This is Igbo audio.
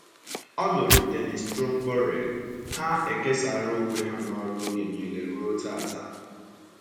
Ọ lụrụ Dennis Trumbore, ha ekesara onwe ha n’ọrụ oge niile ruo taa.